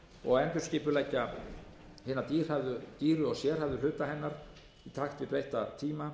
og endurskipuleggja hina dýru og sérhæfðu hluta hennar í takt við breytta tíma